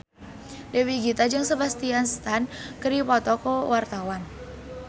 Dewi Gita jeung Sebastian Stan keur dipoto ku wartawan